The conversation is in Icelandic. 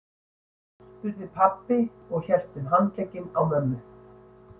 spurði pabbi og hélt um handlegginn á mömmu.